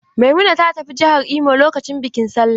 Maimuna ta tafi jihar Imo lokacin bikin Sallah.